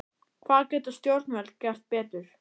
Hvað geta stjórnvöld gert betur?